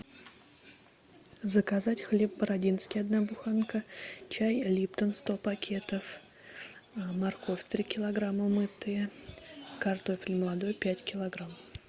заказать хлеб бородинский одна буханка чай липтон сто пакетов морковь три килограмма мытая картофель молодой пять килограмм